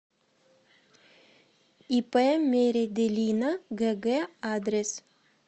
ип меределина гг адрес